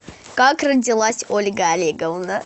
как родилась ольга олеговна